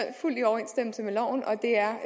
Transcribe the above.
fuldt i overensstemmelse med loven og det er